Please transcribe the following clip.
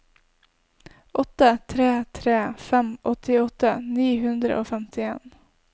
åtte tre tre fem åttiåtte ni hundre og femtien